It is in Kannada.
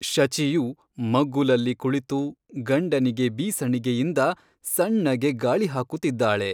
ಶಚಿಯು ಮಗ್ಗುಲಲ್ಲಿ ಕುಳಿತು ಗಂಡನಿಗೆ ಬೀಸಣಿಗೆಯಿಂದ ಸಣ್ಣಗೆ ಗಾಳಿ ಹಾಕುತ್ತಿದ್ದಾಳೆ.